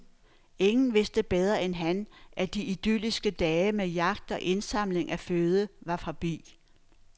Ingen vidste bedre end han , at de idylliske dage med jagt og indsamling af føde var forbi.